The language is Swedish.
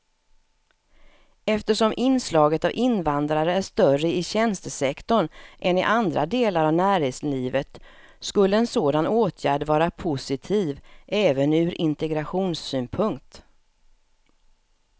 Eftersom inslaget av invandrare är större i tjänstesektorn än i andra delar av näringslivet skulle en sådan åtgärd vara positiv även ur integrationssynpunkt.